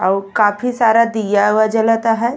अउ काफी सारा दिया उवा जलता हई।